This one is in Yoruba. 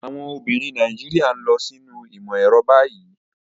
Àwọn obìnrin Nàìjíríà ń lọ sínú ìmọ̀ ẹ̀rọ báyìí.